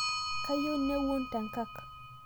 Kayieu nawuon tenkak